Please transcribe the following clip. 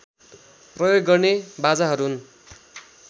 प्रयोग गर्ने बाजाहरू हुन्